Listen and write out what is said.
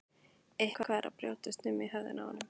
Eitthvað er að brjótast um í höfðinu á honum.